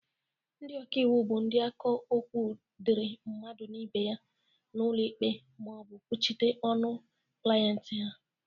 Ndị ọkaiwu bụ ndị na-aka okwu dịri mmadụ na ibe ya n'ụlọ ikpe ma ọ bụ kwuchite ọnụ klienti ha.